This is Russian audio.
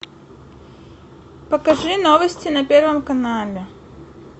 покажи новости на первом канале